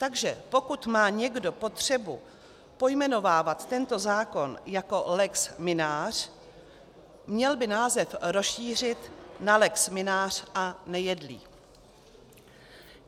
Takže pokud má někdo potřebu pojmenovávat tento zákon jako lex Mynář, měl by název rozšířit na lex Mynář a Nejedlý.